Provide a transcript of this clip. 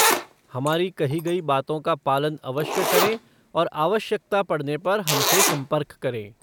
हमारी कही गई बातों का पालन अवश्य करें और आवश्यकता पड़ने पर हमसे संपर्क करें।